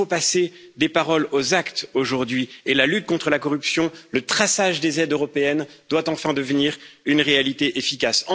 Il faut passer des paroles aux actes aujourd'hui et la lutte contre la corruption et le traçage des aides européennes doivent enfin devenir une réalité efficace.